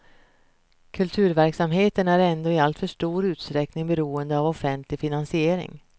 Kulturverksamheten är ändå i alltför stor utsträckning beroende av offentlig finansiering.